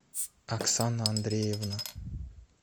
оксана андреевна